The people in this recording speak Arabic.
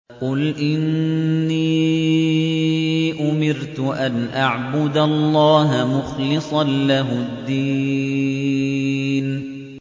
قُلْ إِنِّي أُمِرْتُ أَنْ أَعْبُدَ اللَّهَ مُخْلِصًا لَّهُ الدِّينَ